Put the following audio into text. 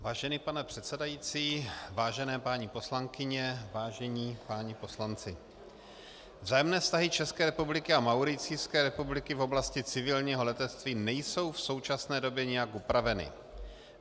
Vážený pane předsedající, vážené paní poslankyně, vážení páni poslanci, vzájemné vztahy České republiky a Mauricijské republiky v oblasti civilního letectví nejsou v současné době nijak upraveny.